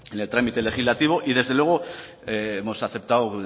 el trámite legislativo y desde luego hemos aceptado